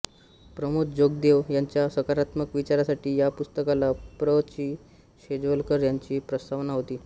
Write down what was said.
प्रमोद जोगदेव यांच्या सकारात्मक विचारासाठी या पुस्तकाला प्र चिं शेजवलकर यांची प्रस्तावना होती